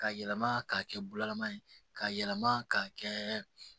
Ka yɛlɛma k'a kɛ bulama ye k'a yɛlɛma k'a kɛ